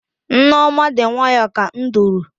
Nneoma dị nwayọọ ka nduru.